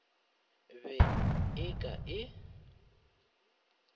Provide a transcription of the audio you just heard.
be go e ka e